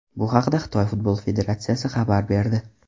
Bu haqda Xitoy futbol federatsiyasi xabar berdi .